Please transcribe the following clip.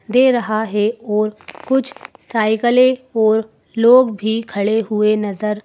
दे रहा है और कुछ साइकलें और लोग भी खड़े हुए नज़र --